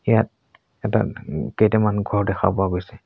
ইয়াত এটা উম কেইটামান ঘৰ দেখা পোৱা গৈছে।